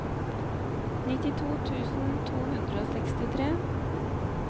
nittito tusen to hundre og sekstitre